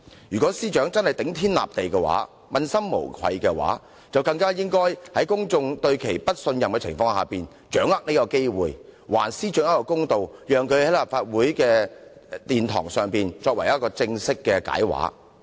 如果司長的確頂天立地，問心無愧，就更應該在公眾對她不信任的時候，把握這次機會還自己一個公道，正式地在立法會的議事堂解釋。